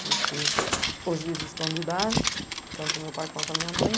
Porque hoje eles estão de idade, tanto o meu pai quanto a minha mãe.